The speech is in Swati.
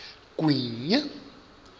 gwinya